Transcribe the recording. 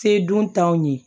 Se dun t'anw ye